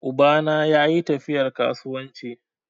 Uba na yayi tafiyar kasuwanci.